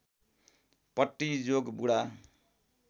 पट्टी जोगबुढा